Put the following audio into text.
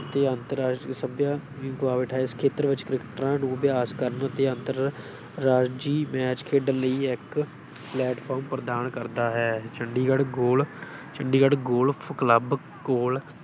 ਤੇ ਅੰਤਰ ਰਾਸ਼ਟਰੀ ਸਭਿਆ ਵੀ ਗਵਾ ਬੈਠਾ ਹੈ, ਇਸ ਖੇਤਰ ਵਿੱਚ ਕ੍ਰਿਕਟਰਾਂ ਨੂੰ ਅਭਿਆਸ ਕਰਨ ਅਤੇ ਅੰਤਰ-ਰਾਜੀ ਮੈਚ ਖੇਡਣ ਲਈ ਇੱਕ platform ਪ੍ਰਦਾਨ ਕਰਦਾ ਹੈ, ਚੰਡੀਗੜ੍ਹ ਗੋਲ ਚੰਡੀਗੜ੍ਹ ਗੋਲਫ ਕਲੱਬ ਕੋਲ